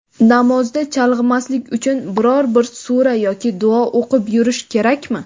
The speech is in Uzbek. Namozda chalg‘imaslik uchun biror-bir sura yoki duo o‘qib yurish kerakmi?.